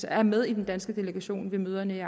er med i den danske delegation ved møderne i